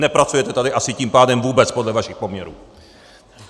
Nepracujete tady asi tím pádem vůbec, podle vašich poměrů!